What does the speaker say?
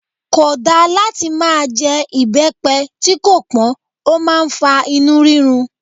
Kò dá láti máa jẹ ibepe tí kò pọn, ó máa ń fa inú rírun.